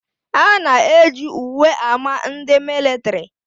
A na eji uwe ámá ndị militiri